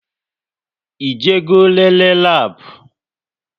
Ị je go nlele labu?